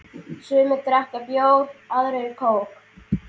Sumir drekka bjór, aðrir kók.